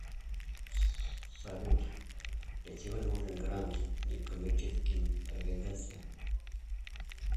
салют для чего нужен грант неккоммерческим организациям